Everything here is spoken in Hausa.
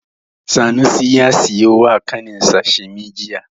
Sanusi ya siyo wa ƙaninsa shimi jiya.